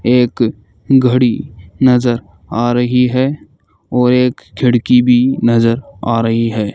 एक घड़ी नजर आ रही है और एक खिड़की भी नजर आ रही है।